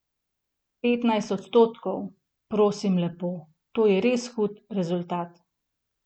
Petnajst odstotkov, prosim lepo, to je res hud rezultat.